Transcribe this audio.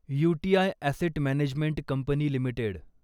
UTI asset management company limited